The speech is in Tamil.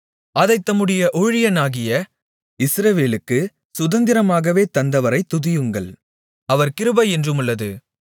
அதைத் தம்முடைய ஊழியனாகிய இஸ்ரவேலுக்குச் சுதந்திரமாகவே தந்தவரைத் துதியுங்கள் அவர் கிருபை என்றுமுள்ளது